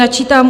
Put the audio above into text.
Načítám: